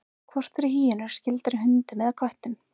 hvort eru hýenur skyldari hundum eða köttum